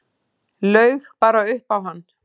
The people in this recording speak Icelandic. Laug bara upp á hann.